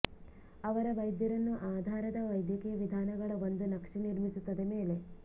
ಅವರ ವೈದ್ಯರನ್ನು ಆಧಾರದ ವೈದ್ಯಕೀಯ ವಿಧಾನಗಳ ಒಂದು ನಕ್ಷೆ ನಿರ್ಮಿಸುತ್ತದೆ ಮೇಲೆ